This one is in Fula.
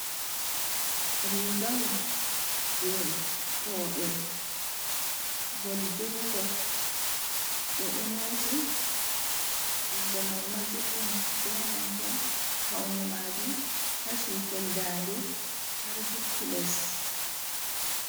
Rigawol je robe gol jungol be do nyoti jungo mai ma juddum, be nanta paune majum kashi foldande har jippi les.